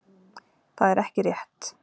Það er ekki rétt